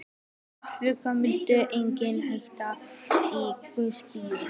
Þeir félagar mældu einnig hita í gospípu